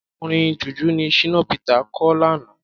Orin Jùjú ni Shina Peter kọ lánàá.